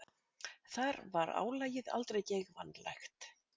Þar var álagið aldrei geigvænlegt.